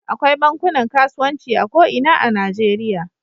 Akwai bankunan kasuwanci a ko ina a Najeriya.